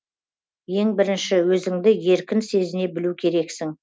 ең бірінші өзіңді еркін сезіне білу керексің